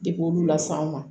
Depi olu las'an ma